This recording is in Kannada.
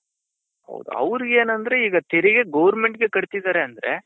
ಅವರಿಗೆ ಏನಂದ್ರೆ ಈಗ ತೆರಿಗೆ governmentಗೆ ಕಟ್ತಿದ್ದಾರೆ ಅಂದ್ರೆ.